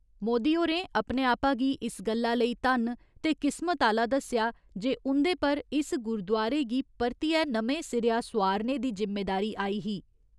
मोदी होरें अपने आपा गी इस गल्ला लेई धन्न ते किस्मत आह्‌ला दस्सेआ जे उं'दे पर इस गुरुद्वारे गी परतिए नमें सिरेआ सोआरनै दी जिम्मेदारी आई ही।